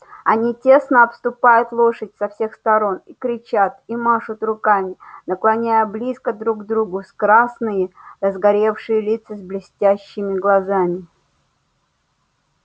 они тесно обступают лошадь со всех сторон и кричат и машут руками наклоняя близко друг к другу красные разгорячённые лица с блестящими глазами